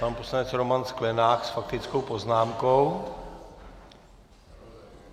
Pan poslanec Roman Sklenák s faktickou poznámkou.